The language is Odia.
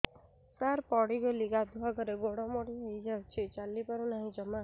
ସାର ପଡ଼ିଗଲି ଗାଧୁଆଘରେ ଗୋଡ ମୋଡି ହେଇଯାଇଛି ଚାଲିପାରୁ ନାହିଁ ଜମା